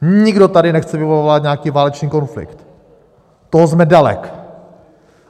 Nikdo tady nechce vyvolávat nějaký válečný konflikt, toho jsme daleci.